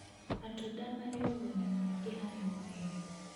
Matunda marĩ ũguni mũingĩ harĩ mwĩrĩ.